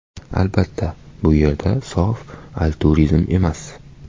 Albatta, bu yerda sof altruizm emas.